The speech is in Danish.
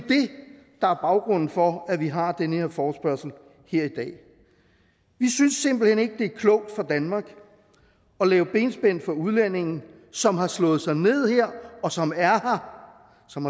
baggrunden for at vi har den her forespørgsel i dag vi synes simpelt hen ikke at det er klogt for danmark at lave benspænd for udlændinge som har slået sig ned her som er her som